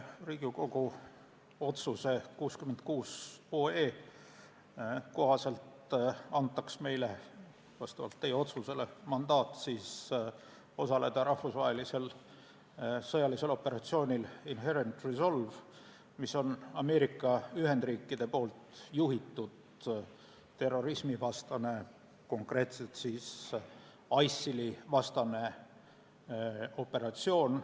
Riigikogu otsuse 66 kohaselt antaks meile vastavalt teie otsusele mandaat osaleda rahvusvahelisel sõjalisel operatsioonil Inherent Resolve, mis on Ameerika Ühendriikide juhitud terrorismivastane, konkreetselt ISIL-i vastane operatsioon.